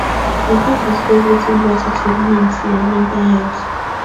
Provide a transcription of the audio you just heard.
you fit discuss wetin gratitude mean to your mental health